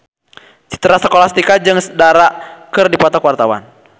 Citra Scholastika jeung Dara keur dipoto ku wartawan